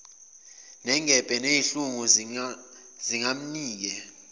nengebhe nezinhlungu zingamnike